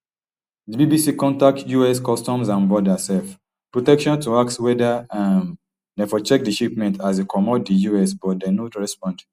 di bbc contact us customs and border um protection to ask weda um dem for check di shipment as e comot di us but dem no respond